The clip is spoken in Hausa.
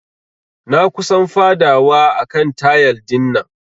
Na kusan fadawa a kan tayal dinnan.